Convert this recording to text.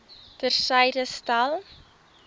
ter syde stel